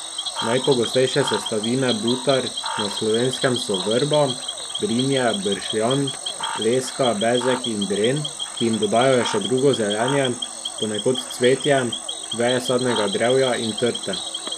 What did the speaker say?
Najpogostejše sestavine butar na Slovenskem so vrba, brinje, bršljan, leska, bezeg in dren, ki jim dodajajo še drugo zelenje, ponekod cvetje, veje sadnega drevja in trte.